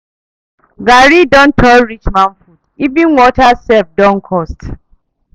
Garri don turn rich man food, even water sef don cost.